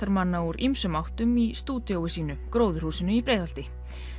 tónlistamanna úr ýmsum áttum í stúdíói sínu gróðurhúsinu í Breiðholti